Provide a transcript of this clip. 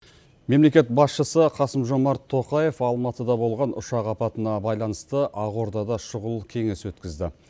мемлекет басшысы қасым жомарт тоқаев алматыда болған ұшақ апатына байланысты ақордада шұғыл кеңес өткізді